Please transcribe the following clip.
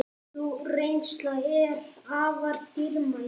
Sú reynsla er afar dýrmæt.